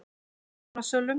Rjúpnasölum